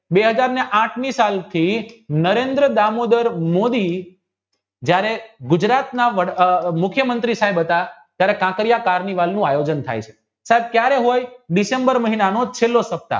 બે હાજર અને અર્થની સાલથી નરેન્દ્ર દામોદર મોદી જયારે ગુજરાતના મુખ્યમંત્રી સાહેબ હતા ત્યારે કાંકરિયાતવ ની વાવનું આયોજન થઈ છે સાહેબ કયારે હોય ડિસેમ્બર મહિનાનો છેલ્લો સપ્તાહ